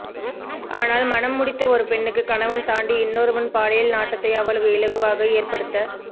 ஆனால் மனம் முடித்த ஒரு பெண்ணுக்கு கனவன் தாண்டி இன்னொருவன் பாலியல் நாட்டத்தை அவ்வளவு இலகுவாக ஏற்படுத்த